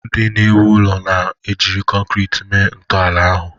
Ndị na-ewu ụlọ jiri kọnkriiti mee ntọala ahu.